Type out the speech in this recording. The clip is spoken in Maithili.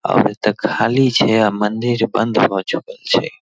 अभी तक खाली छै अ मंदिर बंद भ चुकल छै।